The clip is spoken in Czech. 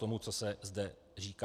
Tomu, co se zde říká.